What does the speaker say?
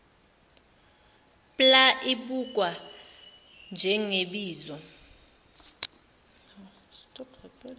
pla ibukwa njengebizo